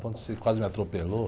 Ontem você quase me atropelou.